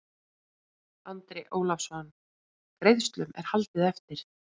Andri Ólafsson: Greiðslum er haldið eftir?